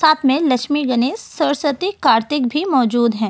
साथ में लक्ष्मी गणेश सरस्वती कार्तिक भी मौजूद हैं।